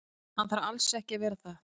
Hann þarf alls ekki að vera það.